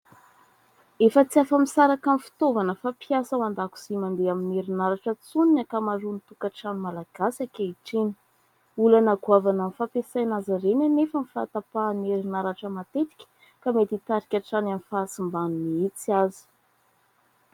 Efa tsy afa-misaraka amin'ny fitaovana fampiasa ao an-dakozia sy mandeha amin'ny herinaratra intsony ny ankamaroan'ny tokantrano malagasy ankehitriny. olana goavana amin'ny fampiasaina azy anefa ny fahatapahan'ny erinaratra matetika ka mety mitarika hatrany amin'ny fahasimbany mihitsy aza.